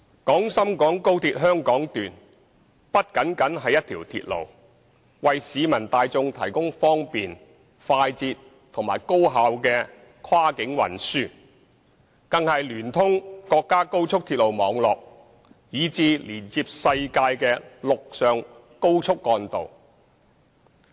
廣深港高鐵香港段不僅是一條鐵路，能為市民大眾提供方便、快捷及高效的跨境運輸，更是聯通國家高速鐵路網絡以至連接世界的陸上高速幹道。